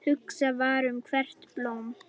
Hugsað var um hvert blóm.